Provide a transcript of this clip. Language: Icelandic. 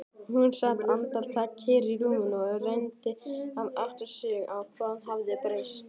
Hún sat andartak kyrr í rúminu og reyndi að átta sig á hvað hafði breyst.